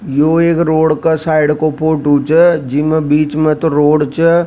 यो एक रोड के साइड का फोटो छ जिमे बीच में तो रोड छ।